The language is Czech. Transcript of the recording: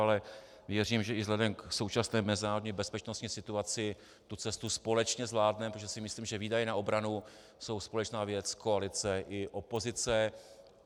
Ale věřím, že i vzhledem k současné mezinárodní bezpečnostní situaci tu cestu společně zvládneme, protože si myslím, že výdaje na obranu jsou společná věc koalice i opozice.